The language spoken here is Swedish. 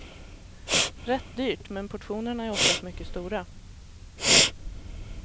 Rätt dyrt, men portionerna är oftast mycket stora.